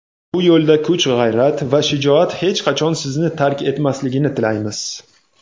bu yo‘lda kuch-g‘ayrat va shijoat hech qachon sizni tark etmasligini tilaymiz.